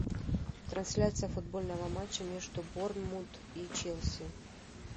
трансляция футбольного матча между борнмут и челси